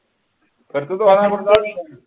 जर तू